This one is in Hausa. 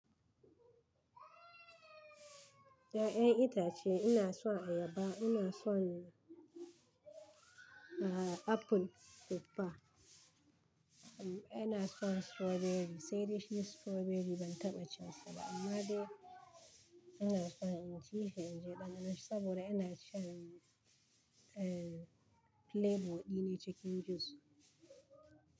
Ya'yan itace ina son ayaba, ina son, ah, apple, tuffa, ina son strawberry. Sai dai shi strawberry ban taɓa cin sa ba amma dai ina son in ci, in ji ɗandanon shi saboda ina shan, en, flavor ɗin nai cikin juice.